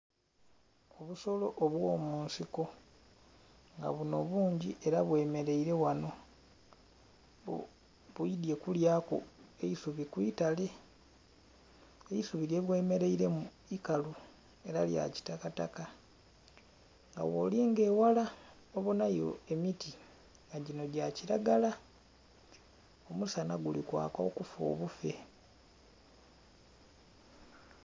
Obusolo obwo munsiko nga buno bungi era bwe mereire ghano bwidhye kulya ku isubi kwitale, eisubi lye bwemereiremu ikalu era lya kitakataka nga gholinga eghala obonhayo emiti nga ginho gya kilagala omusanha guli kwaaka okufa obufe.